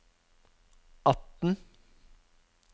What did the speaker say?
atten